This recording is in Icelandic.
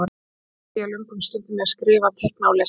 Einnig eyddi ég löngum stundum í að skrifa, teikna og lesa.